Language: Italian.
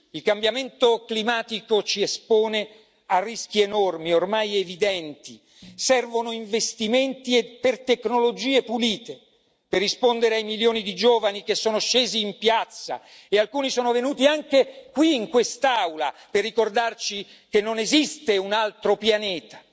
Il cambiamento climatico ci espone a rischi enormi, ormai evidenti servono investimenti per tecnologie pulite, per rispondere ai milioni di giovani che sono scesi in piazza e alcuni sono venuti anche qui, in quest'Aula, per ricordarci che non esiste un altro pianeta.